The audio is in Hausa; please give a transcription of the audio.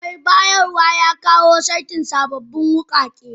Mai bayarwa, ya kawo saitin sabbin wukake.